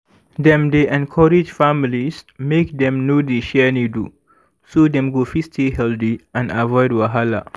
dem dey encourage families make dem no dey share needle so dem go fit stay healthy and avoid wahala